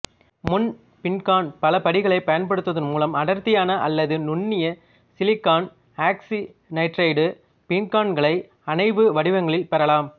முன்பீங்கான் பலபடிகளை பயன்படுத்துவதன் மூலம் அடர்த்தியான அல்லது நுண்ணிய சிலிக்கான் ஆக்சிநைட்ரைடு பீங்கான்களை அணைவு வடிவங்களில் பெறலாம்